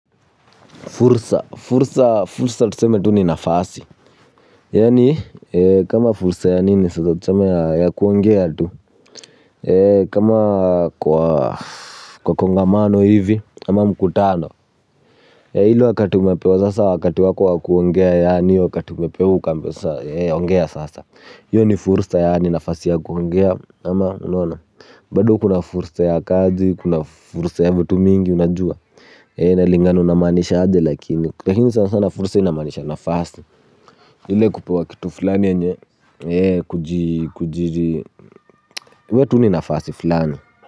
Fursa. Fursa. Fursa tuseme tu ni nafasi. Yaani kama fursa ya nini sasa tuseme ya kuongea tu. Kama kwa kongamano hivi ama mkutano. Hilo wakati umepewa sasa wakati wako wa kuongea yaani hiyo wakati umepewa ukaambiwa sasa ongea sasa. Hiyo ni fursa yaani nafasi ya kuongea ama unaona. Bado kuna fursa ya kaji, kuna fursa ya vitu mingi unajua. Inalingana unamaanishaje lakini, lakini fursa sana sana fursa inamaanisha nafasi. Ile kupewa kitu fulani yenye kujiri We tu ni nafasi fulani.